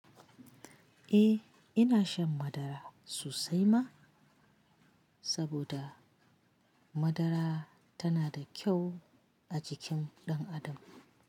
Eh ina shan madara sosai ma, saboda madara tana da kyau a jikin ɗan adam.